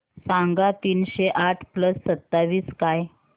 सांगा तीनशे आठ प्लस सत्तावीस काय